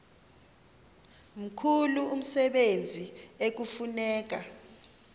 mkhulu umsebenzi ekufuneka